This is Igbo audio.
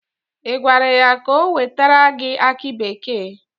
Ị gwara ya ka o wetere gị aki bekee?